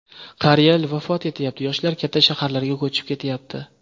Qariyalar vafot etyapti, yoshlar katta shaharlarga ko‘chib ketyapti.